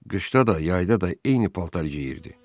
Qışda da, yayda da eyni paltar geyirdi.